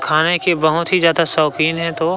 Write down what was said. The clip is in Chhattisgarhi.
खाने के बहुत ही ज्यादा शौक़ीन हैं तो--